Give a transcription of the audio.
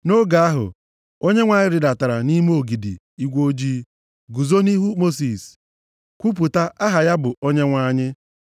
Nʼoge ahụ, Onyenwe anyị rịdatara nʼime ogidi igwe ojii, guzo nʼihu Mosis, kwupụta aha ya bụ Onyenwe anyị.